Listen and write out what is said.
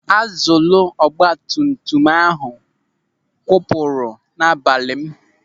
Akzụlụ ọgbatumtum ahụ kwụpụrụ n'abalị m